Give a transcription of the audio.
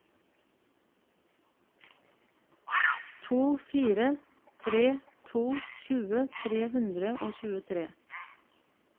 to fire tre to tjue tre hundre og tjuetre